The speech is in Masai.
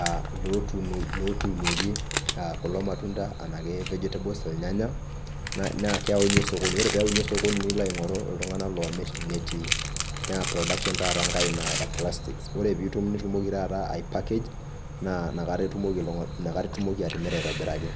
ah lotuunieki, ah kulo matunda enake vegetables irnyanya, naa keyauni osokoni. Ore peoni osokoni, nilo aing'oru iltung'anak loomir, tenetii. Na production taata nkae ina e plastics. Ore pitum nitumoki taata ai package, naa nakata itumoki atimira aitobiraki.